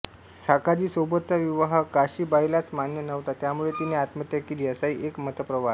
साखाजीसोबतचा विवाह काशीबाईलाच मान्य नव्हता त्यामुळे तिने आत्महत्या केली असाही एक मतप्रवाह आहे